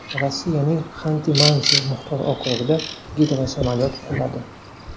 Rossiyaning Xanti-Mansi muxtor okrugida gidrosamolyot quladi.